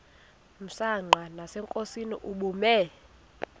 msanqa nasenkosini ubume